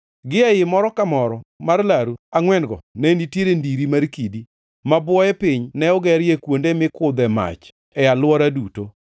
Gie ii moro ka moro mar laru angʼwen-go ne nitie ndiri mar kidi, ma bwoye piny ne ogerie kuonde mikudhe mach e alwora duto.